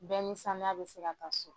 Bɛɛ ni sanuya bɛ se ka taa so.